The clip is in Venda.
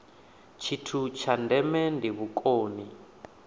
tshithu tsha ndeme ndi vhukoni